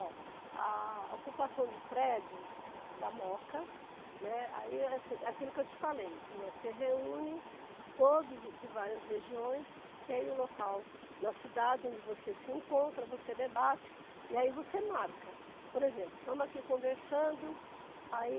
Ó, a ocupação de prédio da Moca, né, aí é assim, aquilo que eu te falei, né, se reúne todos de várias regiões, tem o local na cidade onde você se encontra, você debate e aí você marca, por exemplo, estamos aqui conversando, aí